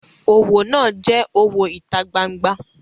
Owo naa je owo ita gbangba.